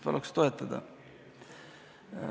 Paluks toetada!